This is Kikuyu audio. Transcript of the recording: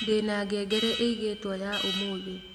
ndĩna ngengere ĩigĩtwo ya ũmũthi